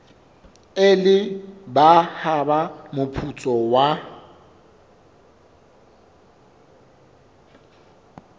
ile ba hapa moputso wa